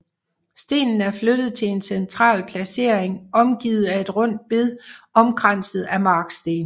Stenen er flyttet til en central placering omgivet af et rundt bed omkranset af marksten